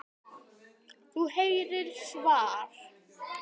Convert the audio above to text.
Þú heyrir svar.